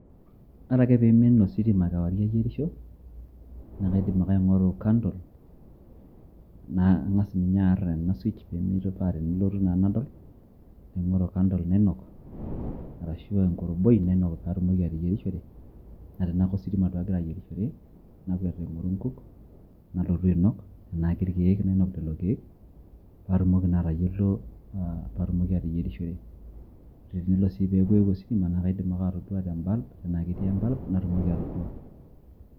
ore ake pee eimin ositima kewarie ining'isho, naa kaidim ake aing'oru candle nang'as ninye aar ena switch paa tenelotu naa nadol. amu ore candle nainok ashu enkoroboi nainok pee atumoki ateyierishore, naa tenaa kositima duoagira ayierishore, nakwet aing'oru inkuk, nalotu ainok, tenaa kerkeek, nainok lelo keek, pee atumoki naa atayiolo, pee atumoki ateyierishore, ore ake oeeku eewuo ositima, naa kaidima ake atoduoa te bulb.